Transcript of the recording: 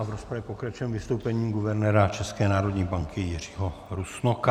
A v rozpravě pokračujeme vystoupením guvernéra České národní banky Jiřího Rusnoka.